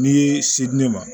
N'i se di ne ma